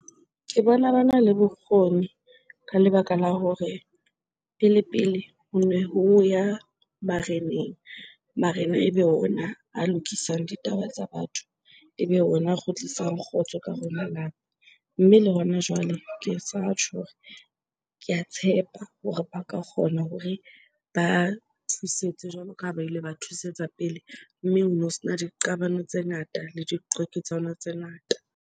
Ke bona bana le bokgoni ka lebaka la hore pele pele hone ho ya bareneng, barena ebe ona a lokisang ditaba tsa batho, ebe ona a kgutlisang kgotso ka hare ho le lelapa. Mme le hona jwale ke sa tjho hore, ke a tshepa hore ba ka kgona hore ba thusetse jwalo ka ha ba ile ba thusetsa pele. Mme hono sena diqabano tse ngata le diqwaketsano tse ngata.